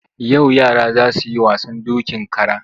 Yau yara za su yi wasan dokin kara.